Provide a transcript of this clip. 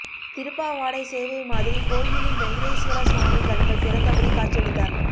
திருப்பாவாடை சேவை மாதிரி கோயிலில் வெங்கடேஸ்வரர் சுவாமி கண்கள் திறந்தபடி காட்சியளித்தார்